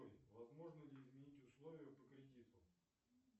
возможно ли изменить условия по кредиту